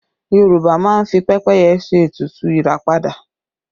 Yorùbá máa ń fi pẹ́pẹ́yẹ ṣe ètùtù ìràpadà